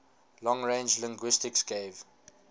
long range linguistics gave